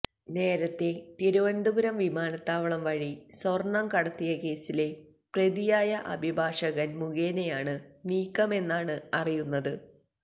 നേരത്തെ തിരുവനന്തപുരം വിമാനത്താവളം വഴി സ്വർണ്ണം കടത്തിയ കേസിലെ പ്രതിയായ അഭിഭാഷകന് മുഖേനയാണ് നീക്കമെന്നാണ് അറിയുന്നത്